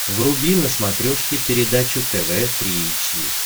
вруби на смотрешке передачу тв три эйч ди